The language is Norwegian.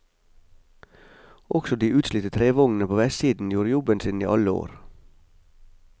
Også de utslitte trevognene på vestsiden gjorde jobben sin i alle år.